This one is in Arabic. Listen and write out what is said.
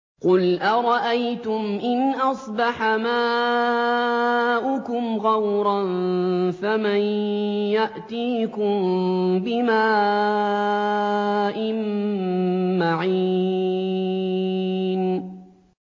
قُلْ أَرَأَيْتُمْ إِنْ أَصْبَحَ مَاؤُكُمْ غَوْرًا فَمَن يَأْتِيكُم بِمَاءٍ مَّعِينٍ